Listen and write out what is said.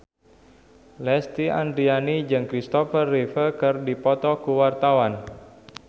Lesti Andryani jeung Kristopher Reeve keur dipoto ku wartawan